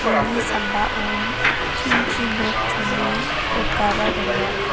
uni sambaon tinchi nok chone rikaba donga.